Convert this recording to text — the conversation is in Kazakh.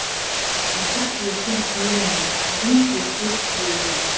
ақыр ертең киемін бүгін көшке киейін